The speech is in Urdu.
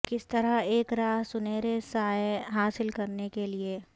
کس طرح ایک راھ سنہرے سایہ حاصل کرنے کے لئے